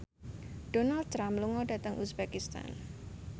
Donald Trump lunga dhateng uzbekistan